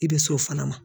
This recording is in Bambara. I bɛ s'o fana ma